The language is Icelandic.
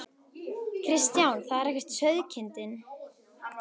Kristján: Það er ekki sauðkindin?